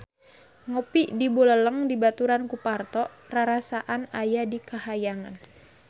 Ngopi di Buleleng dibaturan ku Parto rarasaan aya di kahyangan